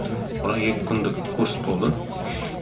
бірақ екі күндік курс болды